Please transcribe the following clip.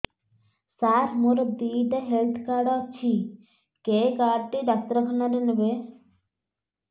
ସାର ମୋର ଦିଇଟା health card ଅଛି କେ କାର୍ଡ ଟି ଡାକ୍ତରଖାନା ରେ ନେବେ